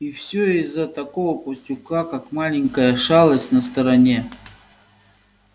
и все из-за такого пустяка как маленькая шалость на стороне